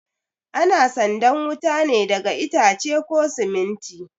Ana sandan wuta ne daga itace ko siminti